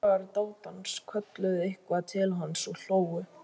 Félagar dátans kölluðu eitthvað til hans og hlógu.